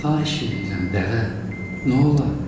Xahiş eləyirəm, dəvə, nə olar?